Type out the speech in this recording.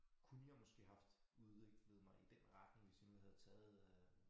Kunne jeg måske haft udviklet mig i den retning hvis jeg nu havde taget øh